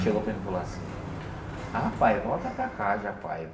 Chegou para mim e falou assim... Ah, pai, volta para casa, pai.